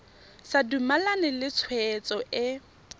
sa dumalane le tshwetso e